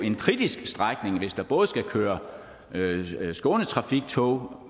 en kritisk strækning hvis der både skal køre skånetrafiktog